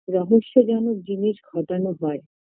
রহস্যজনক জিনিস ঘটানো হয়